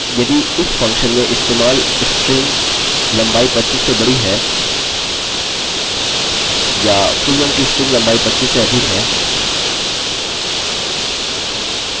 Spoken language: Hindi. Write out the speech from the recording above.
अतः केवल इसे सरल रखने के लिए और दूसरे प्रकार से हम लिखेंगे check password length